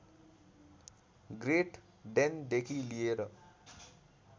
great डेनदेखि लिएर